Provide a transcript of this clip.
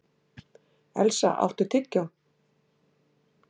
Elsa, áttu tyggjó?